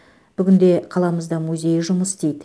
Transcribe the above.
бүгінде қаламызда музейі жұмыс істейді